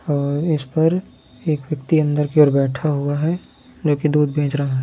और इसपर एक व्यक्ति अंदर की ओर बैठ हुआ है जोकि दूध बेच रहा है।